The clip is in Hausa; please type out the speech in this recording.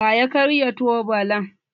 Wa ya karya tubalan?